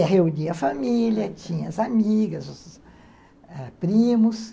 É, reunia a família, tinha as amigas, os ãh primos.